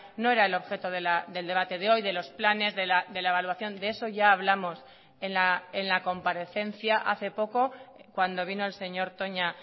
no era el objeto del debate de hoy de los planes de la evaluación de eso ya hablamos en la comparecencia hace poco cuando vino el señor toña